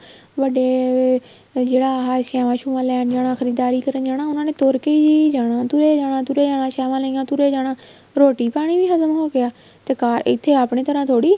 ਵੱਡੇ ਜਿਹੜਾ ਆਹ ਸ਼ੈਆਂ ਸ਼ੁਆਂ ਲੈਣ ਜਾਣਾ ਖ਼ਰੀਦਦਾਰੀ ਕਰਨ ਜਾਣਾ ਉਹਨਾ ਨੇ ਤੁਰ ਕੇ ਹੀ ਜਾਣਾ ਤੁਰੇ ਜਾਣਾ ਤੁਰੇ ਜਾਣਾ ਛਾਵਾਂ ਲਈਆਂ ਤੁਰੇ ਜਾਣਾ ਰੋਟੀ ਪਾਣੀ ਵੀ ਹਜ਼ਮ ਹੋ ਗਿਆ ਤੇ ਇੱਥੇ ਆਪਣੇ ਤਰ੍ਹਾਂ ਥੋੜੀ